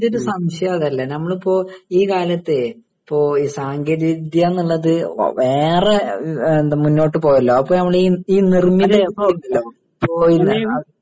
എൻ്റെ ഒരു സംശയം അതല്ല നമ്മളിപ്പോ ഈ കാലത്തു ഇപ്പൊ ഈ സാങ്കേതിക വിദ്യ എന്നുള്ളത് ഏറെ മുന്നോട്ടു പോയല്ലോ അപ്പൊ നമ്മള് ഈ